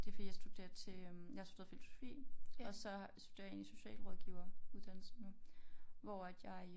Det fordi jeg studerer til øh jeg har studeret filosofi og så studerer jeg egentlig socialrådgiver uddannelse nu hvor at jeg